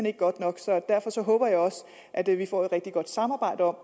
ikke godt nok og derfor håber jeg også at vi vi får et rigtig godt samarbejde om